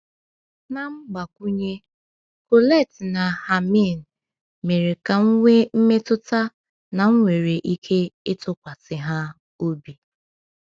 Na mgbakwunye, Colette na Hermine mere ka m nwee mmetụta na m nwere ike ịtụkwasị ha obi.